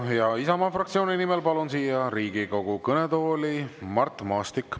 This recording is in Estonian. Ja Isamaa fraktsiooni nimel palun siia Riigikogu kõnetooli Mart Maastiku.